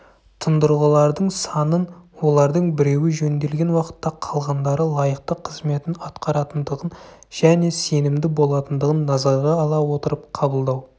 тұндырғылардың санын олардың біреуі жөнделген уақытта қалғандары лайықты қызметін атқаратындығын және сенімді болатындығын назарға ала отырып қабылдау